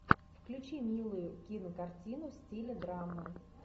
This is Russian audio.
включи милую кинокартину в стиле драма